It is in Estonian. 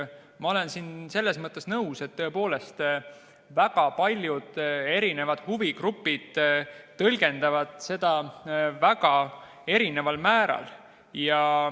Ma olen selles mõttes nõus, et tõepoolest väga paljud huvigrupid tõlgendavad seda väga erinevalt.